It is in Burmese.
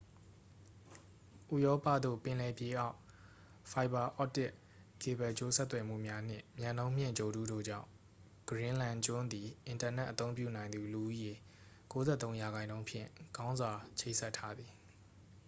ဥရောပသို့ ပင်လယ်ပြင်အောက် ဖိုင်ဘာအော့ပ်တစ် ကေဘယ်ကြိုးဆက်သွယ်မှုများနှင့် မြန်နှုန်းမြင့် ဂြိုဟ်တုတို့ကြောင့် ဂရင်းလန်ကျွန်းသည် အင်တာနက် အသုံးပြုနိုင်သူ လူဦးရေ 93% ဖြင့် ကောင်းစွာ ချိတ်ဆက်ထားသည်